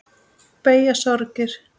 Beygja sorgir flesta.